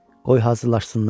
Qoy hazırlansınlar.